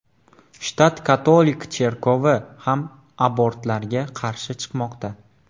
Shtat katolik cherkovi ham abortlarga qarshi chiqmoqda.